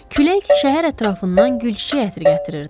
Külək şəhər ətrafından gül çiçək ətri gətirirdi.